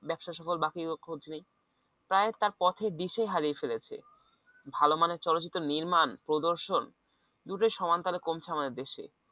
ব্যবসায় সফল বাকিগুলোর খোঁজ নেই তাই তার পথের দিশা হারিয়ে ফেলেছে ভালো মানের চলচ্চিত্র নির্মাণ প্রদর্শন দুটোই সমান তালে কমছে আমাদের দেশে